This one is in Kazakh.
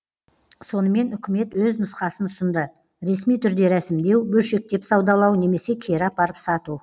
сонымен үкімет өз нұсқасын ұсынды ресми түрде рәсімдеу бөлшектеп саудалау немесе кері апарып сату